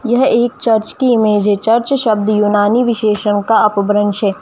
यह एक चर्च की इमेज है चर्च शब्द उमानी बिशेसो का अपभ्रंश है।